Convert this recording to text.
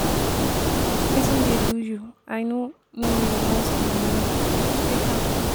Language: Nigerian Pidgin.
wetin dey do you i no no you want the money take am.